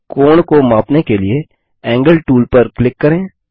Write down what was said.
कोण को मापने के लिए एंगल टूल पर क्लिक करें